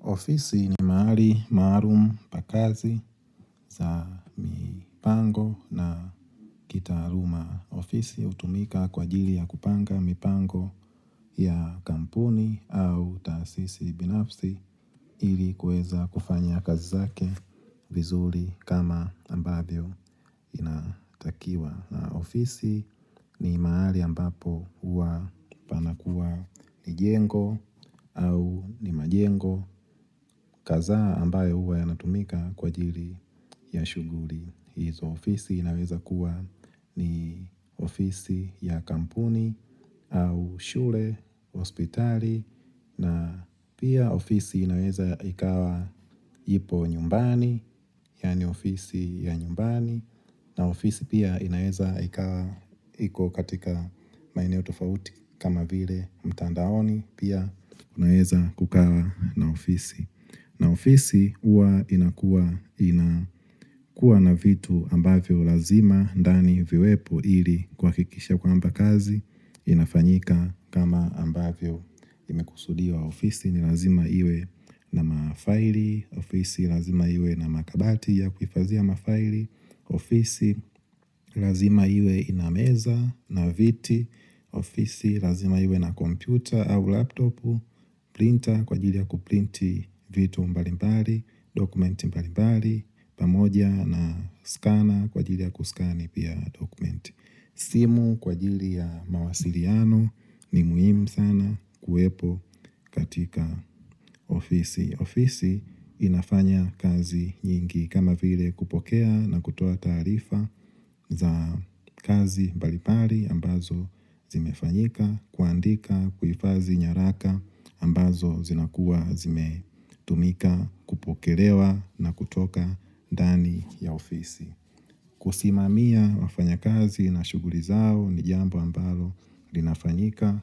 Ofisi nimahali maalum pakazi za mipango na kitaaluma ofisi utumika kwa jili ya kupanga mipango ya kampuni au taasisi binafsi ili kueza kufanya kazi zake vizuri kama ambayo inatakiwa. Ofisi ni mahali ambapo huwa panakuwa ni jengo au ni majengo kaza ambaye huwa yanatumika kwa jiri ya shughuli. Hizo ofisi inaweza kuwa ni ofisi ya kampuni au shure, hospitali na pia ofisi inaweza ikawa jipo nyumbani, yaani ofisi ya nyumbani na ofisi pia inaweza ikawa hiko katika maineo tofauti kama vile mtandaoni pia unaweza kukawa na ofisi na ofisi uwa inakua na vitu ambavyo lazima dani viwepo ili kwa kikisha kwamba kazi inafanyika kama ambavyo imekusudiwa ofisi ni lazima iwe na mafaili, ofisi lazima iwe na makabati ya kufazia mafaili, ofisi lazima iwe inameza na viti, ofisi lazima iwe na kompyuta au laptop, Printa kwa jili ya kuprinti vito mbalimbali, dokumenti mbalimbali, pamoja na skana kwa jili ya kuskani pia dokumenti. Simu kwa jili ya mawasiliano ni muhimu sana kuwepo katika ofisi. Ofisi inafanya kazi nyingi kama vile kupokea na kutoa tarifa za kazi mbalimbali ambazo zimefanyika. Kuandika kuifazi nyaraka ambazo zinakuwa zime tumika kupokelewa na kutoka dani ya ofisi. Kusimamia wafanya kazi na shughuli zao ni jambo ambalo linafanyika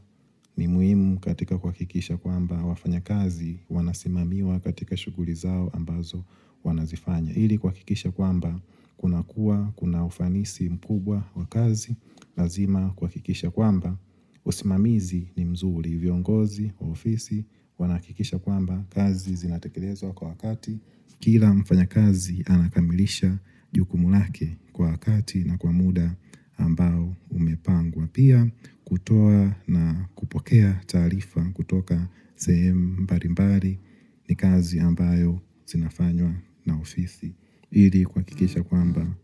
ni muhimu katika kwa kikisha kwa ambazo wafanya kazi wanasimamiwa katika shughuli zao ambazo wanazifanya. Ili kwakikisha kwamba kuna kuwa kuna ufanisi mkubwa wa kazi lazima kwa kikisha kwamba Osimamizi ni mzuri viongozi wa ofisi wanakikisha kwamba kazi zinatekelezo kwa wakati Kila mfanya kazi anakamilisha jukumulake kwa wakati na kwa muda ambao umepangwa Pia kutoa na kupokea tarifa kutoka sehemu mbalimbali ni kazi ambayo zinafanywa na ofisi ili kwa kikisha kwamba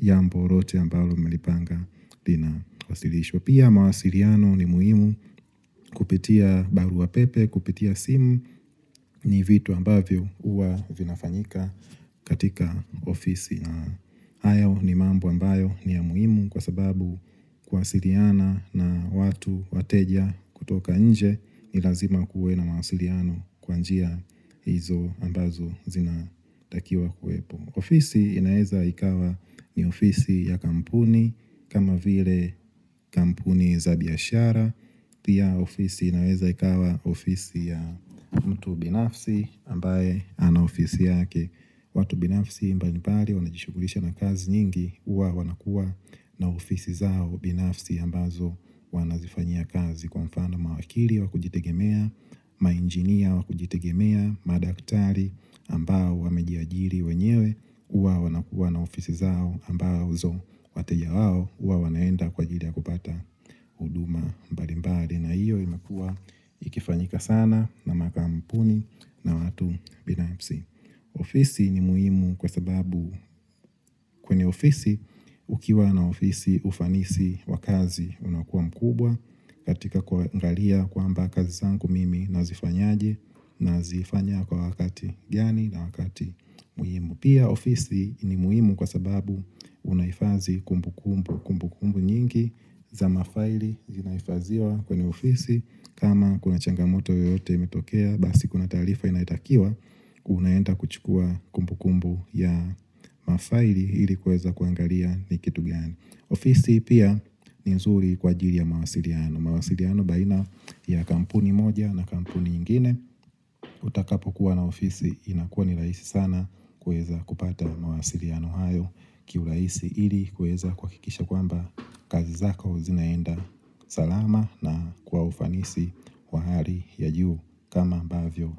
yambo lote ambayo melipanga dina wasilisho Pia mawasiliano ni muhimu kupitia baru pape, kupitia simu ni vitu ambayo uwa vinafanyika katika ofisi na hayao ni mambo ambayo ni ya muhimu kwa sababu kuasiliana na watu wateja kutoka nje ni lazima kuwe na ma siriano kwanjia hizo ambazo zinatakiwa kuepo ofisi inaeza ikawa ni ofisi ya kampuni kama vile kampuni za biashara pia ofisi inaeza ikawa ofisi ya mtu binafsi ambaye ana ofisi yake watu binafisi mbalibali wanajishukulisha na kazi nyingi uwa wanakua na ofisi zao binafisi ambazo wanazifanya kazi kwa mfano mawakili wakujitegemea, mainjinia wakujitegemea, madaktari ambao wamejia jiri wenyewe uwa wanakua na ofisi zao ambazo wateja wao uwa wanaenda kwa jiri ya kupata huduma mbalibali na hiyo imakua ikifanyika sana na makampuni na watu binafsi ofisi ni muhimu kwa sababu kwenye ofisi ukiwa na ofisi ufanisi wakazi unakuwa mkubwa katika kwa ngalia kwamba kazi zanku mimi nazifanyaje na zifanya kwa wakati gani na wakati muhimu Pia ofisi ni muhimu kwa sababu unaifazi kumbukumbu nyingi za mafaili zinaifaziwa kwenye ofisi kama kuna changamoto yote imetokea basi kuna tarifa inaitakiwa unaenda kuchukua kumbukumbu ya mafaili ili kueza kuangalia ni kitu gani ofisi pia ni nzuri kwa jiri ya mawasiliano mawasiliano baina ya kampuni moja na kampuni ingine utakapo kuwa na ofisi inakuwa ni raisi sana kueza kupata mawasiliano hayo kiu rahisi ili kueza kwa kikisha kwamba kazi zaka uzinaenda salama na kwa ufanisi Kwa hali ya jiu kama bavyo.